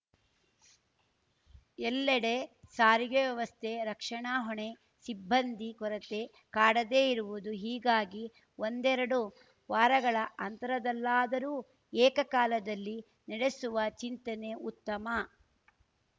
ಎಲ್ಲೆಡೆ ಸಾರಿಗೆ ವ್ಯವಸ್ಥೆ ರಕ್ಷಣಾ ಹೊಣೆ ಸಿಬ್ಬಂದಿ ಕೊರತೆ ಕಾಡದೇ ಇರುವುದು ಹೀಗಾಗಿ ಒಂಡೆರಡು ವಾರಗಳ ಅಂತರದಲ್ಲಾದರೂ ಏಕಕಾಲದಲ್ಲಿ ನಡೆಸುವ ಚಿಂತನೆ ಉತ್ತಮ